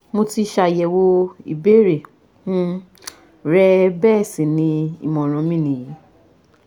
Mo ti ṣàyẹ̀wò ìbéèrè um rẹ bẹ́ẹ̀ sì ni ìmọ̀ràn mi nìyí